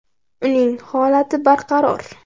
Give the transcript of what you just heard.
Uning holati barqaror.